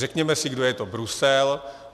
Řekněme si, kdo je to Brusel.